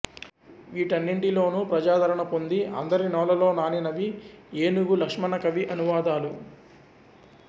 వీటన్నింటిలోను ప్రజాదరణ పొంది అందరి నోళ్ళలో నానినవి ఏనుగు లక్ష్మణ కవి అనువాదాలు